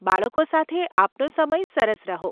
બાળકો સાથે આપનો સમય સરસ રહો.